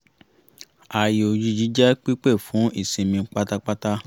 ààyè òjijì jẹ́ pípé fún ìsinmi pátápátá